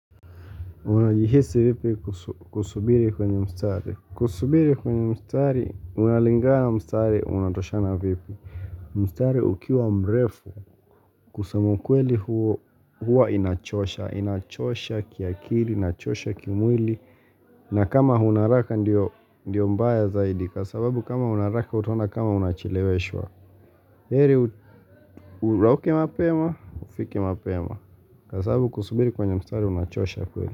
Unajihisi vipi kusubiri kwenye mstari. Kusubiri kwenye mstari, unalingana mstari, unatoshana vipi. Mstari ukiwa mrefu, kusema ukweli huo, huwa inachosha. Inachosha kiakili, inachosha kimwili. Na kama una haraka ndiyo mbaya zaidi, kwa sababu kama una haraka utaona kama unacheleweshwa. Heri urauke mapema, ufike mapema. Kwa sababu kusubiri kwenye mstari, unachosha kweli.